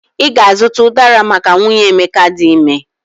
I ga-azuta ụdara maka nwunye Emeka di ime